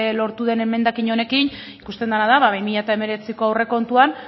lortu den emendakin honekin ikusten dena da ba bi mila hemeretziko aurrekontuan